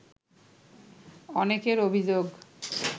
অনেকের অভিযোগ